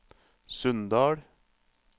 Sunndal